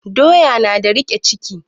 Doya na da riƙe ciki